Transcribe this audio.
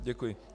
Děkuji.